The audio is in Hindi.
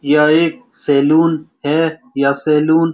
यह एक सैलून है यह सैलून --